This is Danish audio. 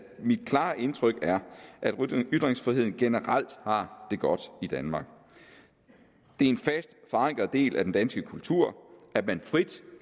mit klare indtryk er at ytringsfriheden generelt har det godt i danmark det er en fast forankret del af den danske kultur at man frit